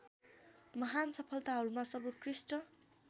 महान सफलताहरूमा सर्वोत्कृष्ट